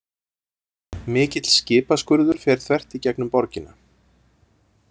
Mikill skipaskurður fer þvert í gegnum borgina.